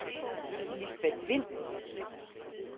Lisbeth Wind